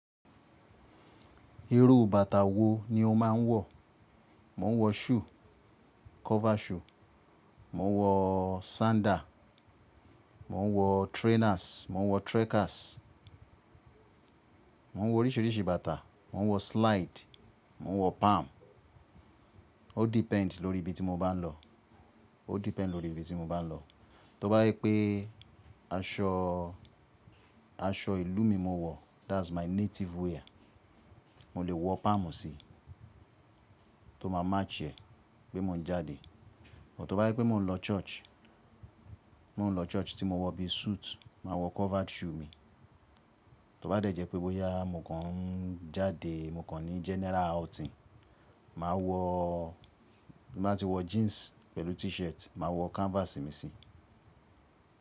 Irú bàtà wo ni o máa ń wọ̀? Mo ń wọ shoe, cover shoe, mo ń wọ sander, mo ń wọ trainers, mo ń wọ trekkers, mo ń wọ oríṣiríṣi bàtà, mo ń wọ slide, mo ń wọ palm. Ó depend lórí ibi tí mo bá ń lọ. Ó depend lórí ibi tí mo bá ń lọ. Tó bá jé pé aṣọ, aṣọ ìlú mi mo wọ̀, that's my native wear, mo lè wọ palm síi tó máa match ẹ́ pé mo ń jáde. But tó bá jé pé mò ń lọ church, mò ń lọ church tí mo wọ bí suit, màa wọ covered shoe mi. Tó bá dẹ́jẹ́ pé bóyá mò kan ń jáde, mo kàn ní general outing, màa wọ̀, bí n bà tí wọ jeans pẹ̀lú t-shirt, mà a wọ canvas mi síi.